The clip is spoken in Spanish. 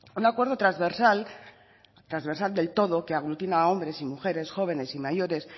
un acuerdo transversal transversal del todo que aglutina a hombres y mujeres jóvenes y mayores